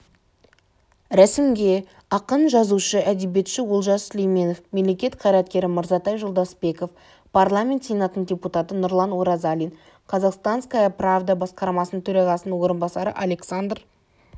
рәсімге ақын жазушы-әдебиетші олжас сүлейменов мемлекет қайреткері мырзатай жолдасбеков парламент сенатының депутаты нұрлан оразалин казахстанская правда басқарма төрағасының орынбасары александр